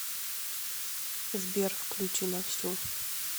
сбер включи на всю